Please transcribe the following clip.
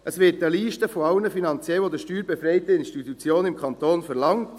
– Es wird eine Liste aller steuerbefreiten Institutionen im Kanton verlangt.